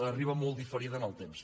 arriba molt diferida en el temps